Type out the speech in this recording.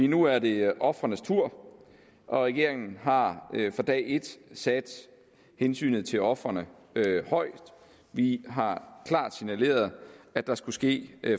nu er det ofrenes tur og regeringen har fra dag et sat hensynet til ofrene højt vi har klart signaleret at der skulle ske